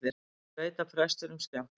Ég veit að prestinum skjátlast.